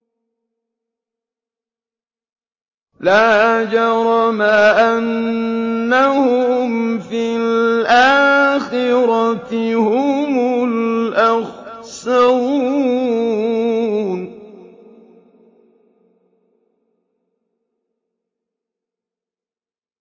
لَا جَرَمَ أَنَّهُمْ فِي الْآخِرَةِ هُمُ الْأَخْسَرُونَ